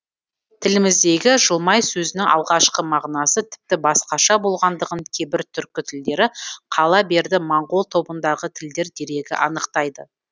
тіліміздегі жылмай сөзінің алғашқы мағынасы тіпті басқаша болғандығын кейбір түркі тілдері қала берді моңғол тобындағы тілдер дерегі анықтайды